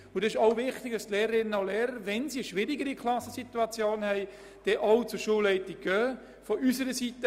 Es ist auch wichtig, dass sich die Lehrerinnen und Lehrer an die Schulleitung wenden, wenn die Situation in der Klasse schwierig ist.